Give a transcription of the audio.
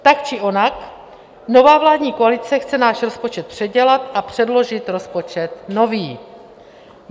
Tak či onak nová vládní koalice chce náš rozpočet předělat a předložit rozpočet nový.